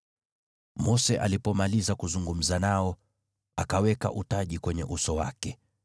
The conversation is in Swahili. Mose alipomaliza kuzungumza nao, akaweka utaji kwenye uso wake.